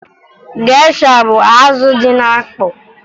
Gesha bụ azụ dị na mkpọ